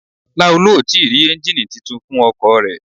Laolu o ti rí ẹ́ngìnì titun fún ọkọ̀ rẹ̀.